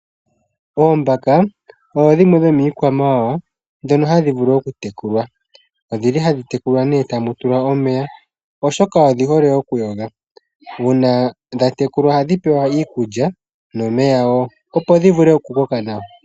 Oombaka odho dhimwe dhomiikwamawawa ndhono hadhi vulu okutekulwa. Odhili hadhi tekulwa tamu tulwa omeya , oshoka odhi hole okuyoga. Uuna dhatekulwa ohadhi pewa iikulya nomeya wo opo dhivule okukoka nawa.